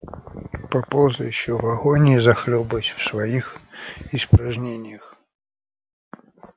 поползай ещё в агонии захлёбываясь в своих испражнениях